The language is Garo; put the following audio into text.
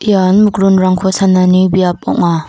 ian mikronrangko sanani biap ong·a.